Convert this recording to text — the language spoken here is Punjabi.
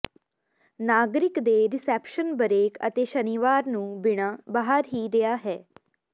ਨਾਗਰਿਕ ਦੇ ਰਿਸੈਪਸ਼ਨ ਬਰੇਕ ਅਤੇ ਸ਼ਨੀਵਾਰ ਨੂੰ ਬਿਨਾ ਬਾਹਰ ਹੀ ਰਿਹਾ ਹੈ